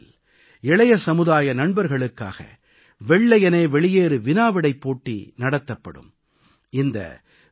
நரேந்திர மோடி செயலியில் இளைய சமுதாய நண்பர்களுக்காக வெள்ளையனே வெளியேறு வினாவிடைப் போட்டி நடத்தப்படும்